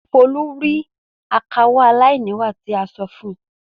Folú rí akawó aláìníwà tí a sọ fún un.